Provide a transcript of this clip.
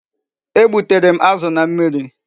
E gbutere m azu na mmiri